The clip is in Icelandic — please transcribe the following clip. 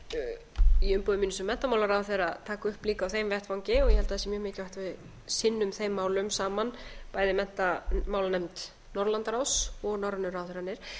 mun í umboði mínu sem menntamálaráðherra taka upp líka á þeim vettvangi ég held að sé mjög mikilvægt að við sinnum þeim málum saman bæði menntamálanefnd norðurlandaráðs og norrænu ráðherrarnir